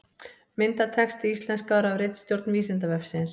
Myndatexti íslenskaður af ritstjórn Vísindavefsins.